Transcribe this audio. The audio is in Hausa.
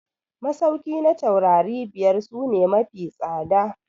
Masauki na taurari biyar su ne mafi tsada.